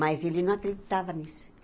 Mas ele não acreditava nisso.